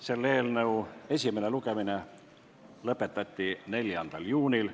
Selle eelnõu esimene lugemine lõpetati 4. juunil.